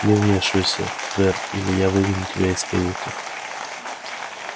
не вмешивайся твер или я выгоню тебя из каюты